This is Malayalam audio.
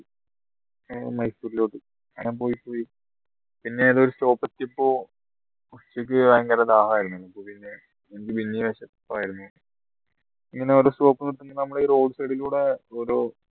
മൈസൂരിലോട്ട അങ്ങനെ പോയി പോയി പിന്നെ ഏതോ ഒരു stop എത്തിയപ്പോ ഉച്ചക്ക് ഭയങ്കര ദാഹായിരുന്നു വിശപ്പ് ആയിരുന്നു ഇങ്ങനെ ഓരോ stop നിർത്തി നമ്മളെ ഈ road side ലൂടെ ഓരോ